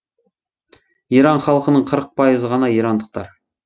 иран халқының қырық пайызы ғана ирандықтар